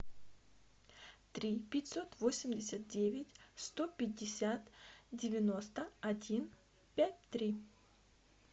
три пятьсот восемьдесят девять сто пятьдесят девяносто один пять три